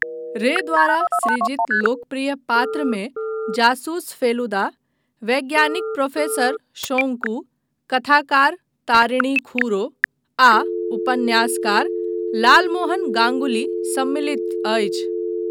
रे द्वारा सृजित लोकप्रिय पात्रमे जासूस फेलुदा, वैज्ञानिक प्रोफेसर शौंकू, कथाकार तारिणी खुरो, आ उपन्यासकार लालमोहन गांगुली सम्मिलित अछि।